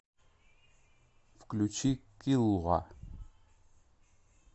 включи киллуа